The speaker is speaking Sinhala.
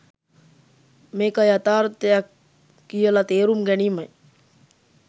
මේක යථාර්ථයක් කියල තේරුම් ගැනීමයි.